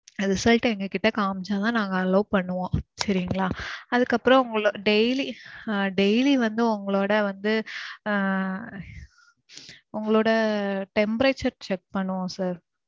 அந்த result ட எங்க கிட்ட காமிச்சா தான் நாங்க allow பன்னுவோம் சரிங்களா. அதுக்கு அப்பறோம் உங்கள daily, daily வந்து உங்களோட வந்து ஆஹ் உங்களோட temperature check பண்ணுவோம் sir.